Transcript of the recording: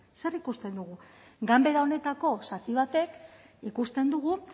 zer ikusten dugu ganbera honetako zati batek ikusten dugu